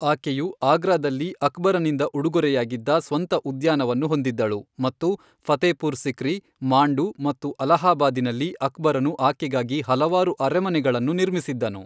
ಆಕೆಯು ಆಗ್ರಾದಲ್ಲಿ ಅಕ್ಬರನಿಂದ ಉಡುಗೊರೆಯಾಗಿದ್ದ ಸ್ವಂತ ಉದ್ಯಾನವನ್ನು ಹೊಂದಿದ್ದಳು, ಮತ್ತು ಫತೇಪುರ್ ಸಿಕ್ರಿ, ಮಾಂಡು ಮತ್ತು ಅಲಹಾಬಾದಿನಲ್ಲಿ ಅಕ್ಬರನು ಆಕೆಗಾಗಿ ಹಲವಾರು ಅರಮನೆಗಳನ್ನು ನಿರ್ಮಿಸಿದ್ದನು.